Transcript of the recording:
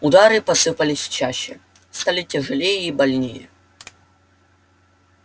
удары посыпались чаще стали тяжелее и больнее